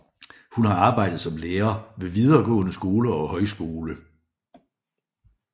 Hun har arbejdet som lærer ved videregående skole og høgskole